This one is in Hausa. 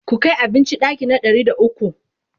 ku Kai abinci ɗaki na ɗari da ukwu!